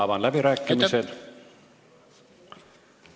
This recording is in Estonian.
Avan läbirääkimised.